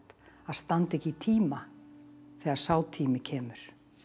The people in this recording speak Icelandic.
að standa ekki í tíma þegar sá tími kemur